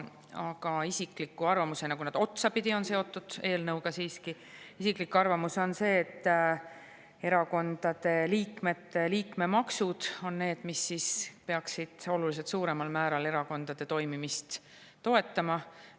Minu isiklik arvamus – see ei puuduta nüüd konkreetset eelnõu, aga see on otsapidi siiski selle eelnõuga seotud – on see, et erakondade liikmete liikmemaksud on need, mis peaksid oluliselt suuremal määral erakondade toimimist toetama.